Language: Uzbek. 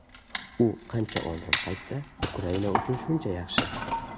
U qancha oldin qaytsa, Ukraina uchun shuncha yaxshi.